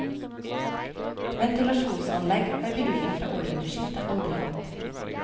Ventilasjonsanlegg har bygningen fra århundreskiftet aldri hatt.